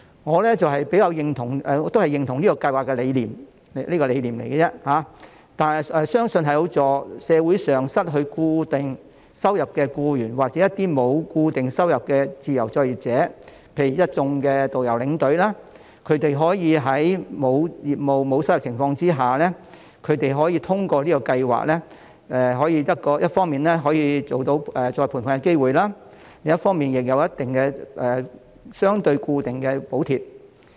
我認同這項計劃的理念，但只是理念而已，相信有助社會上失去固定收入的僱員，或一些沒有固定收入的自由作業者，例如一眾導遊和領隊，他們可以在沒有業務、沒有收入的情況下，可以通過這項計劃一方面有再培訓的機會，另一方面亦有相對固定的補貼。